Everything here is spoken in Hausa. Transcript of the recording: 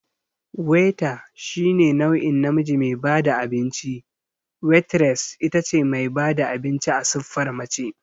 Waiter shine nau'in namiji me bada abinci, Waitress itace mai bada abinci a siffar mace